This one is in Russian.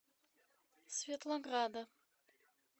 светлограда